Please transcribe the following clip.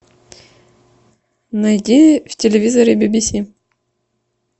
найди в телевизоре бибиси